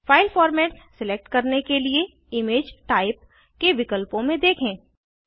file format select करने के लिए इमेज टाइप के विकल्पों में देखें